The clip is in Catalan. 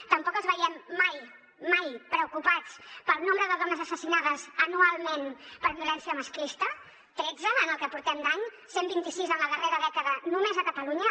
tampoc els veiem mai mai preocupats pel nombre de dones assassinades anualment per violència masclista tretze en el que portem d’any cent i vint sis en la darrera dècada només a catalunya